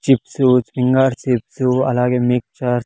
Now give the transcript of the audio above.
Chips finger chips అలాగే mixture .